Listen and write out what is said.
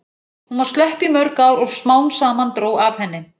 Hún var slöpp í mörg ár og smám saman dró af henni.